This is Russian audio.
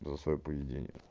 за своё поведение